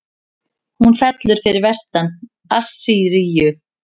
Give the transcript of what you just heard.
Hún fellur fyrir vestan Assýríu.